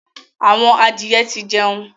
Àwọn adìye tí jẹun.